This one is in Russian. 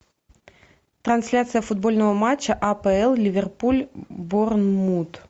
трансляция футбольного матча апл ливерпуль борнмут